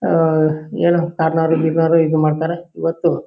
ಆಆಹ್ ಏನೋ ಕಾರ್ನರು ಗಿರ್ನಾರು ಇದು ಮಾಡ್ತಾರೆ ಇವತ್ತು.